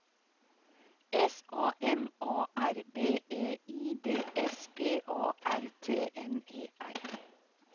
S A M A R B E I D S P A R T N E R